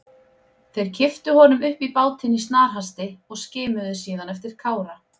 Þeir kipptu honum upp í bátinn í snarhasti og skimuðu síðan eftir Kára.